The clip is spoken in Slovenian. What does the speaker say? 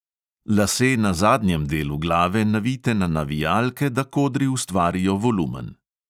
Lase na zadnjem delu glave navijte na navijalke, da kodri ustvarijo volumen.